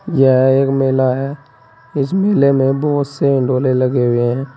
यह एक मेला है इस मेले में बहोत से डोले लगे हुए हैं।